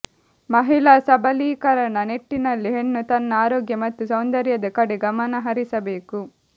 ಮಹಿಳಾ ಸಬಲೀಕರಣ ನಿಟ್ಟಿನಲ್ಲಿ ಹೆಣ್ಣು ತನ್ನ ಆರೋಗ್ಯ ಮತ್ತು ಸೌಂದರ್ಯದ ಕಡೆ ಗಮನ ಹರಿಸಬೇಕು